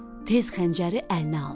Tez xəncəri əlinə aldı.